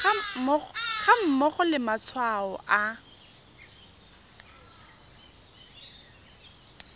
ga mmogo le matshwao a